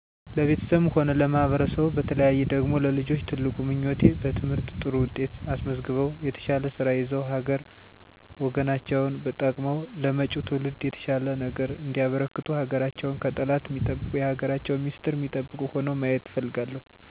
ለቤተሰቤም ሆነ ለማህበረሰቡ በተለየ ደግሞ ለልጆቼ ትልቁ ምኞቴ በትምህርት ጥሩ ውጤት አስመዝግበው የተሻለ ስራ ይዘው ሀገር ወገናቸውን ጠቅመው ለመጭው ትውልድ የተሻለ ነገር እንዲያበረክቱ ሀገራቸውን ከጠላት ሚጠብቁ የሀገራቸውን ሚስጥር ሚጠብቁ ሁነው ማየት እፈልጋለሁ። ማህበረሰቡ ደግሞ እርስ በእርሱ ሚዋደድ ሚደጋገፍ ሚከባበር ማህበረሰብ እንዲሆን እመኛለው። ሀገርን የተሻለ ቦታ ለማድረስ እርስ በእርስ መተባበር ያስፈልጋል እና የተሻለ ለውጥ ላይ ለመድረስ ራስን በየቀኑ ማሻሻል እና መተባበር ይገባል።